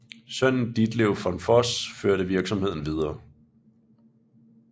Sønnen Ditlev von Voss førte virksomheden videre